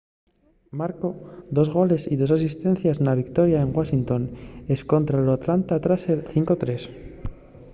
marcó dos goles y dos asistencies na victoria en washington escontra los atlanta thrashers 5-3